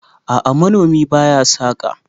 a'a manomi ba ya saka